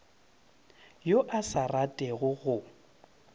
yo a sa ratego go